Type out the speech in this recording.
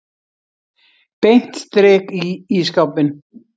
Beint strik í ísskápinn.